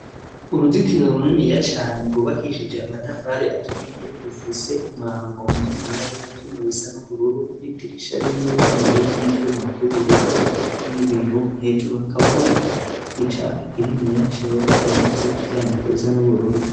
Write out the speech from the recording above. Uruzitiro runeniya cane rwubakishije amatafari aturiye rufise umwango mu niniya w'ivyumu bisa n'ubururu n'idirisha rimwe rininiya ry'ivyumuvy'ubururu rireko n'i biyo hejuru hakaba hariko icapa kiliniya cera canditse kuvyandiko bisa n'ubururu.